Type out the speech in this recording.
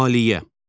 Maliyyə.